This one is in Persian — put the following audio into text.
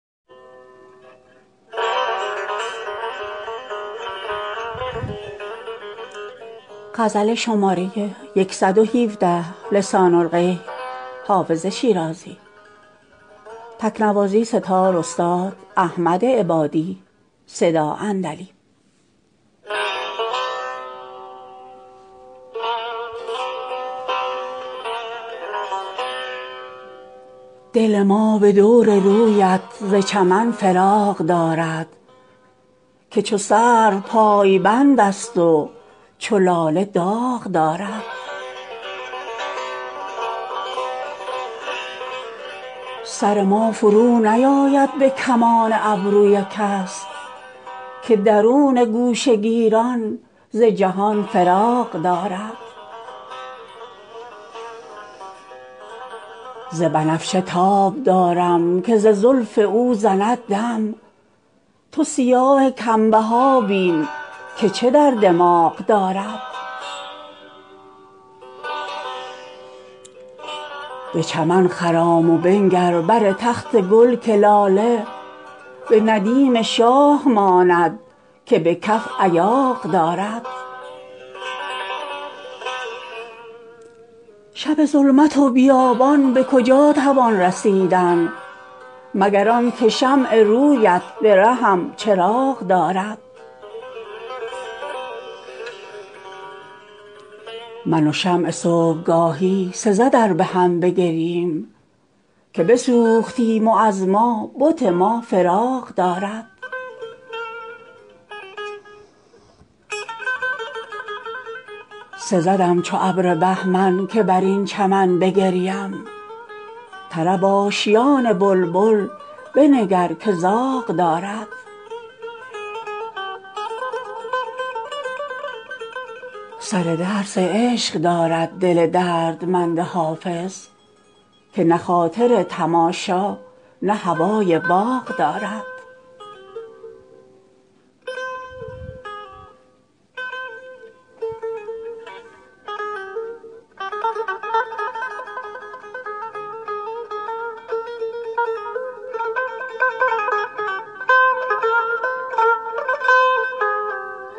دل ما به دور رویت ز چمن فراغ دارد که چو سرو پایبند است و چو لاله داغ دارد سر ما فرونیآید به کمان ابروی کس که درون گوشه گیران ز جهان فراغ دارد ز بنفشه تاب دارم که ز زلف او زند دم تو سیاه کم بها بین که چه در دماغ دارد به چمن خرام و بنگر بر تخت گل که لاله به ندیم شاه ماند که به کف ایاغ دارد شب ظلمت و بیابان به کجا توان رسیدن مگر آن که شمع روی ات به رهم چراغ دارد من و شمع صبح گاهی سزد ار به هم بگرییم که بسوختیم و از ما بت ما فراغ دارد سزدم چو ابر بهمن که بر این چمن بگریم طرب آشیان بلبل بنگر که زاغ دارد سر درس عشق دارد دل دردمند حافظ که نه خاطر تماشا نه هوای باغ دارد